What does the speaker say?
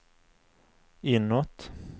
inåt